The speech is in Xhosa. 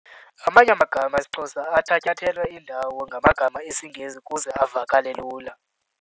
Amanye amagama esiXhosa athatyathelwe indawo ngamagama esiNgesi ukuze avakale lula.